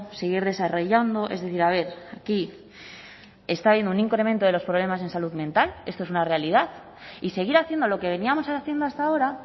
seguir desarrollando es decir a ver aquí está habiendo un incremento de los problemas en salud mental esto es una realidad y seguir haciendo lo que veníamos haciendo hasta ahora